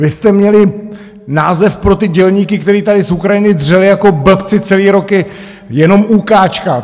Vy jste měli název pro ty dělníky, kteří tady z Ukrajiny dřeli jako blbci celý roky, jenom úkáčka.